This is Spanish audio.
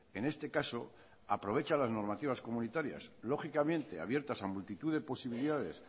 en este caso aprovecha las normativas comunitarias lógicamente abiertas a multitud de posibilidades